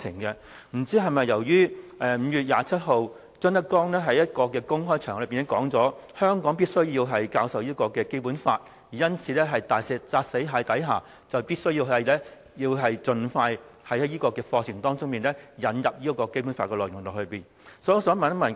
不知是否由於5月27日，張德江在一個公開場合裏表示香港必須教授《基本法》，因此，在"大石砸死蟹"的情況下，當局必須盡快在課程當中引入《基本法》的內容。